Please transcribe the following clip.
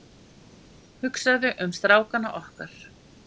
Hugsaðu um strákana okkar.